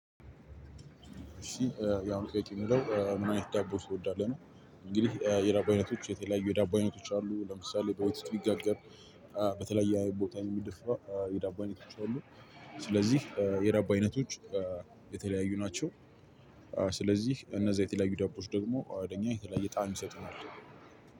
እሺ ያው ጥያቄው የሚለው ምን አይነት ዳቦ ትወዳለህ ነው? እንግዲህ የዳቦ አይነቶች የተለያዩ የዳቦ አይነቶች አሉ። ለምሳሌ በወተት ምጋገር። በተለያየ ቦታ የሚደፋ የዳቦ አይነቶች አሉ። ስለዚህ የደብ አይነቶች የተለያዩ ናቸው። ስለዚህ እነዛ የተለያዩ ዳቦዎች ደግሞ ለኛ የተለያየ ጣዕም ይሰጡናል።